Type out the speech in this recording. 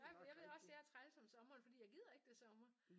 Ej men jeg ved også jeg er træls om sommeren fordi jeg gider ikke det sommer